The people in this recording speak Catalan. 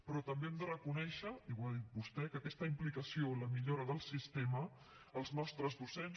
però també hem de reconèixer i ho ha dit vostè que aquesta implicació en la millora del sistema els nostres docents